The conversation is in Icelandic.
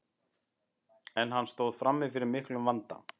en hann stóð frammi fyrir miklum vanda